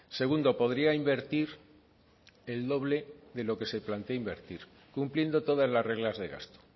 segundo podría invertir el doble de lo que se plantea invertir cumpliendo todas las reglas de gasto